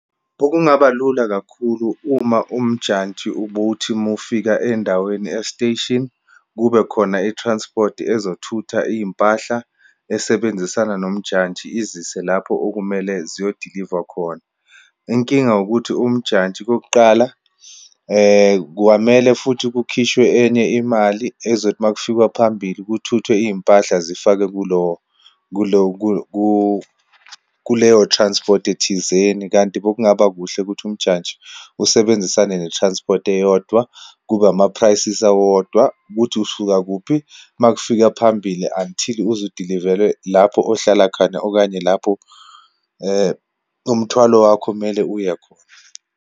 Okungaba lula kakhulu uma umjantshi ubuthi uma ufika eyindaweni e-station, kube khona i-transport ezothutha iyimpahla esebenzisana, nomjantshi, izise lapho okumele ziyodilivwa khona. Inkinga ukuthi umjantshi kokuqala, kwamele futhi kukhishwe enye imali ezothi uma kufikwa phambili kuthuthwa iyimpahla zifakwe kulo, kulo, kuleyo transport-i thizeni. Kanti bekungabakuhle ukuthi umjantshi usebenzisane ne-transport eyodwa, kube ama-prices awodwa ukuthi usuka kuphi, uma kufika phambili until uze udilivelwe lapho ohlala khona, okanye lapho umthwalo wakho kumele uye khona.